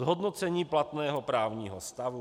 Zhodnocení platného právního stavu.